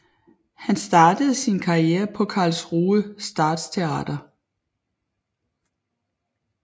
Han startede sin karriere på Karlsruhe Staatstheater